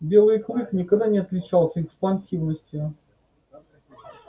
белый клык никогда не отличался экспансивностью